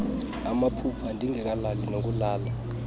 amaphupha ndingekalali nokulala